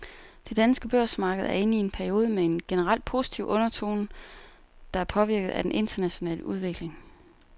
Det danske børsmarked er inde i en periode med en generelt positiv undertone, der er påvirket af den internationale udvikling.